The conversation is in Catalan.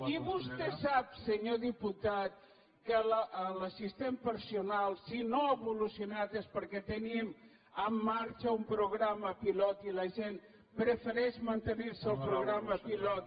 i vostè sap senyor diputat que l’assistent personal si no ha evolucionat és perquè teníem en marxa un programa pilot i la gent prefereix mantenir se en el programa pilot